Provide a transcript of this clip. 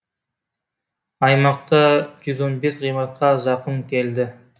аймақта жүз он бес ғимаратқа зақым келді